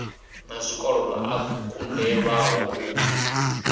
na zwikolodo a kunḓelwaho u